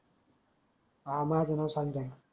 आ माझ नाव सांगजा